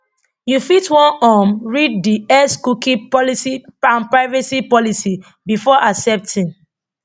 you fit wan um read di x cookie policy and privacy policy before accepting